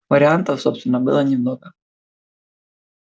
вариантов собственно было немного